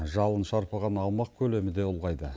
жалын шарпыған аумақ көлемі де ұлғайды